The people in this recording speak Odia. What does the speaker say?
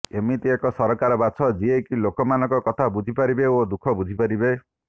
ଏମିତି ଏକ ସରକାର ବାଛ ଯିଏ କି ଲୋକମାନଙ୍କ କଥା ବୁଝିପାରିବେ ଓ ଦୁଃଖ ବୁଝିପାରିବେ